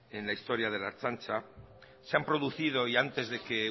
en la historia de la ertzaintza se han producido y antes de que